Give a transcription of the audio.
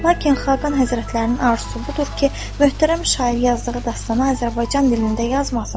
Lakin Xaqan Həzrətlərinin arzusu budur ki, möhtərəm şair yazdığı dastanı Azərbaycan dilində yazmasın.